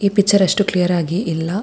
ಈ ಪಿಕ್ಚರ್ ಅಷ್ಟು ಕ್ಲಿಯರ್ ಆಗಿ ಇಲ್ಲ --